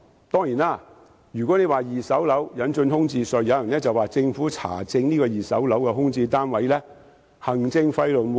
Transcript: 當然，如果要為二手樓引入空置稅，有人會說政府查證二手空置單位會涉及很高的行政費用。